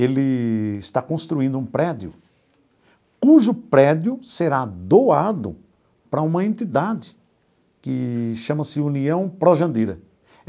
Ele está construindo um prédio, cujo prédio será doado para uma entidade que chama-se União Pró Jandira.